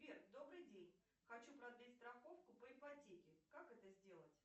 сбер добрый день хочу продлить страховку по ипотеке как это сделать